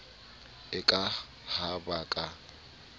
e ka ha ba ka